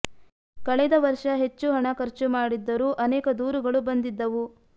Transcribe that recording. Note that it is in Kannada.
ಕಳೆದ ವರ್ಷ ಹೆಚ್ಚು ಹಣ ಖರ್ಚು ಮಾಡಿದ್ದರೂ ಅನೇಕ ದೂರುಗಳು ಬಂದಿದ್ದವು